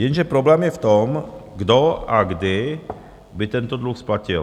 Jenže problém je v tom, kdo a kdy by tento dluh splatil.